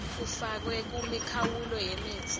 kufakwe kumikhawulo yemitsi